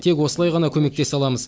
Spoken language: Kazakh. тек осылай ғана көмектесе аламыз